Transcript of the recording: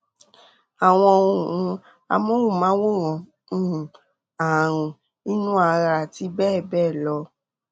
àwọn ohun amóhùnmáwòrán um ààrùn inú ara àti bẹ́ẹ̀ bẹ́ẹ̀ lọ